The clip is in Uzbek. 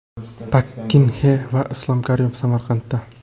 Pak Kin Xe va Islom Karimov Samarqandda.